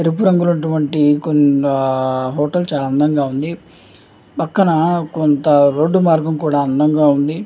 ఎరుపు రంగువంటి కొన్ని హోటల్ చానా అందంగా ఉంది. పక్కన రోడ్ మార్గం అందంగా ఉంది.